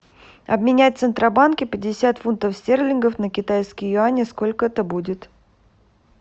обменять в центробанке пятьдесят фунтов стерлингов на китайские юани сколько это будет